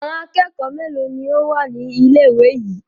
Àwọn akẹ́kọ̀ọ́ mélòó ni ó wà ní ilé-ìwé yìí?